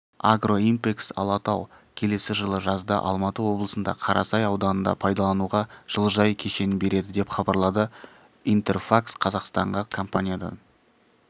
агроимпэксалатау келесі жылы жазда алматы облысында қарасай ауданында пайдалануға жылыжай кешенін береді деп хабарлады интерфакс-қазақстанға компаниядан